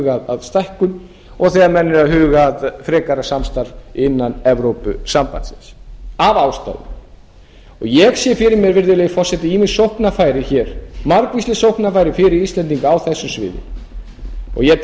að stækkun og þegar menn eru að huga að frekari samstarfi innan evrópusambandsins og ég sé fyrir mér virðulegi forseti ýmis sóknarfæri hér margvísleg sóknarfæri fyrir íslendinga á þessu sviði og ég tel að